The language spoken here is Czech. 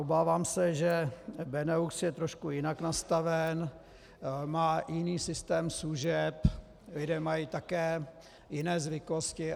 Obávám se, že Benelux je trošku jinak nastaven, má jiný systém služeb, lidé mají také jiné zvyklosti.